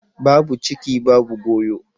Babu ciki babu goyo.